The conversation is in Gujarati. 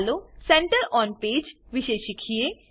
ચાલો સેન્ટર ઓન પેજ વિષે શીખીએ